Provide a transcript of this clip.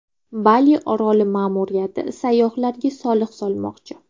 Bali oroli ma’muriyati sayyohlarga soliq solmoqchi.